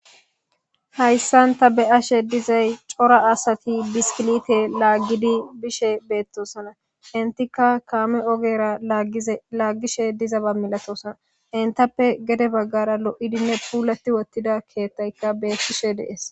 hayssanta be7ashe dizay cora asati biskilite laaggidi bishe beettosana intika kaame ogera agielaaggishe diza ba milatosana intappe gede baggara lo7idinne puulati wottida keethtaykka beettishe dees